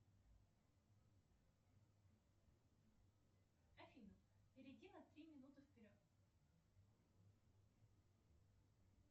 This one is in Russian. афина перейди на три минуты вперед